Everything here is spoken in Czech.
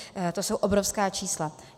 To jsou obrovská čísla.